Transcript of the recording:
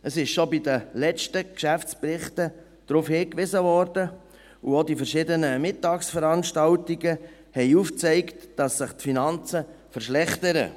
Es wurde schon bei den letzten Geschäftsberichten darauf hingewiesen, und auch die verschiedenen Mittagsveranstaltungen haben aufgezeigt, dass sich die Finanzen verschlechtern.